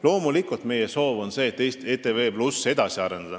Loomulikult on meie soov ETV+ edasi arendada.